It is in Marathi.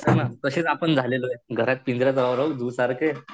हो ना तशेच आपण झालेलोये घरात पिंजरा झू सारखे.